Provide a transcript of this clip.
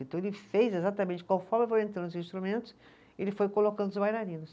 Então ele fez exatamente, conforme entrando os instrumentos, ele foi colocando os bailarinos.